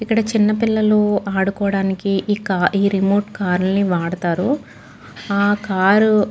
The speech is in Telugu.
ఇక్కడ చిన్న పిల్లలు ఆడుకోవడానికి ఇక ఈ రిమోట్ కారు ని వాడతారు. ఆ కారు --